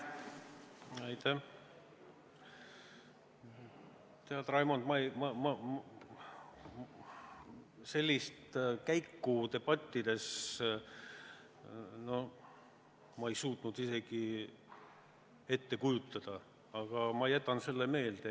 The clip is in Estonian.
Tead, Raimond, ma sellist käiku debattides ei suutnud isegi ette kujutada, aga ma jätan selle meelde.